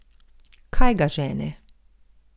Kaj ga žene?